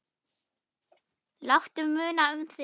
Láttu muna um þig.